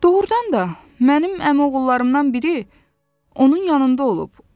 Doğrudan da mənim əmioğullarından biri onun yanında olub.